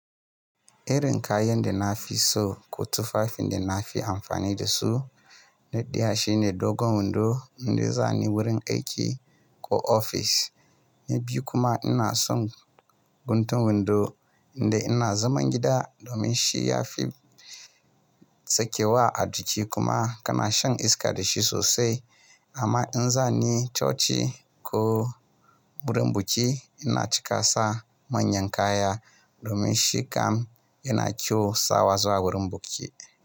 Irin kayan da na fi so ko tufafin da na fi amfani da su, naɗaya shine dogon wando inda za ni wurin aiki ko ofis. Na biyu kuma ina son guntun windo inda ina zaman gida domin shi ya fi sakewa a jiki kuma kana shan iska da shi sosai. Amma in za ni coci ko wurin buki ina cika sa manyan kaya domin shi kam yana kyau sawa zuwa wurin buki.